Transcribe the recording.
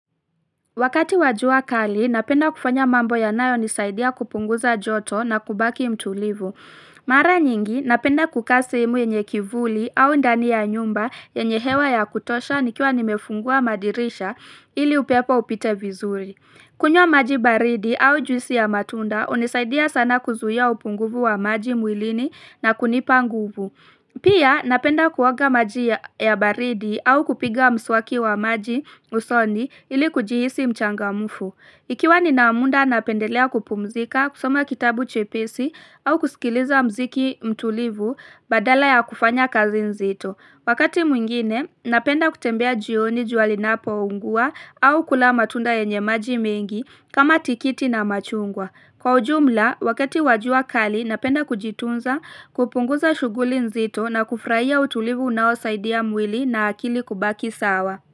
Wakati wa jua kali, napenda kufanya mambo yanayonisaidia kupunguza joto na kubaki mtulivu. Mara nyingi, napenda kukaa sehemu yenye kivuli au ndani ya nyumba yenye hewa ya kutosha nikiwa nimefungua madirisha ili upepo upite vizuri. Kunywa maji baridi au juisi ya matunda, hunisaidia sana kuzuia upunguvu wa maji mwilini na kunipa nguvu. Pia napenda kuoga maji ya baridi au kupiga mswaki wa maji usoni ili kujihisi mchangamfu. Ikiwa nina mda napendelea kupumzika, kusoma kitabu chepesi au kusikiliza mziki mtulivu badala ya kufanya kazi nzito. Wakati mwingine, napenda kutembea jioni jua linapoungua au kula matunda yenye maji mengi kama tikiti na machungwa. Kwa ujumla, wakati wa jua kali napenda kujitunza kupunguza shughuli nzito na kufurahia utulivu unaosaidi mwili na akili kubaki sawa.